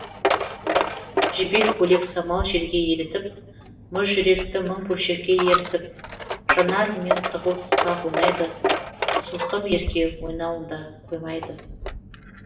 жібек көйлек самал желге елітіп мұз жүректі мың бөлшекке ерітіп жанарыммен тығылыспақ ойнайды сылқым ерке ойнауында қоймайды